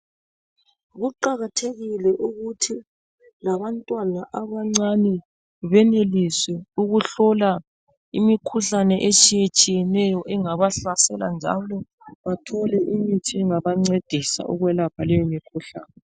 Kuqakathekile ukuthi labantwana abancane beneliswe ukuhlola imikhuhlane etshiye tshiyeneyo engabahlasela njalo bathole imithi engabancedisa ukuyelapha leyo mikhuhlane.